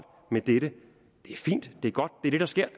med dette det er fint det er godt det er det der sker